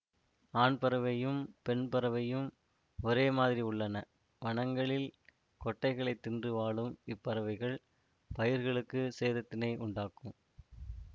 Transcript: ஆண்பறவையும் பெண்பறவையும் ஒரே மாதிரி உள்ளன வனங்களில் கொட்டைகளைத் தின்று வாழும் இப்பறவைகள் பயிர்களுக்கு சேதத்தினை உண்டாக்கும்